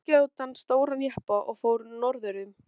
Ég átti ágætan stóran jeppa og fór norður um